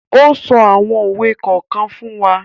O so awon owe kokan fun wa